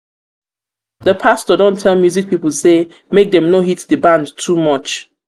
di pastor don tell music pipo sey make dem no hit di band too much.